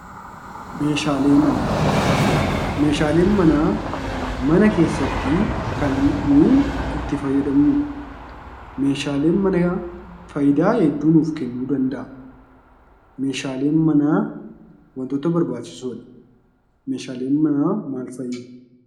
Meeshaaleen manaa mana keessatti nuyi itti fayyadamnudha. Meeshaaleen manaa wantoota barbaachisoo fi faayidaa hedduu nuu kennuu danda'a. Meeshaaleen manaa maal fa'i?